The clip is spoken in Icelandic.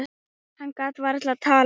Hann gat varla talað.